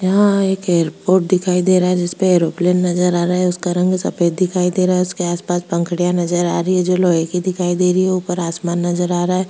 यहाँ एक एयरपोर्ट दिखाई दे रहा है जिसपे एरोप्लेन नजर आ रहा है उसका रंग सफ़ेद दिखाई दे रहा है उसके आसपास पंखुड़ियाँ नजर आ रही है जो लोहे की दिखाई दे रही है ऊपर आसमान नजर आ रहा है।